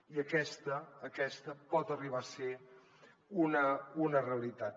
i aquesta aquesta pot arribar a ser una realitat